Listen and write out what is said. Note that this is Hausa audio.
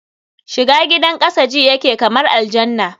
shiga gidan kasa ji yake kamar a aljanna